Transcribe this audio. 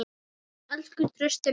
Elsku Trausti minn.